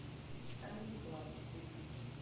камеди клаб включи